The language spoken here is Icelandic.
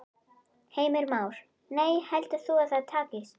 Heimir Már: Nei, heldur þú að það takist?